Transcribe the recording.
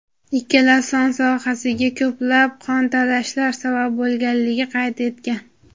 ikkala son sohasiga ko‘plab qontalashlar sabab bo‘lganligini qayd etgan.